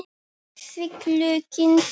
Saxið laukinn smátt.